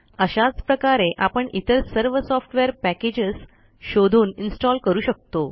अशाच प्रकारे आपण इतर सर्व सॉफ्टवेअर पॅकेजेस शोधून इन्स्टॉल करू शकतो